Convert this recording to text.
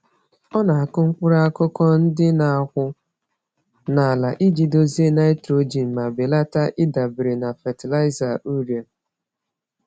Ọ na-akụ mkpụrụ-akụkụ ndị n'akwụ n'ala iji dozie nitrogen ma belata ịdabere na fatịlaịza urea.